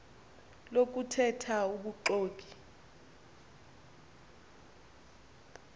lokuthe tha ubuxoki